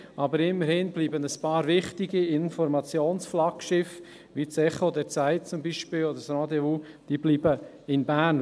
Doch immerhin bleiben ein paar wichtige Informationsflaggschiffe in Bern wie zum Beispiel das «Echo der Zeit» oder das «Rendez-vous».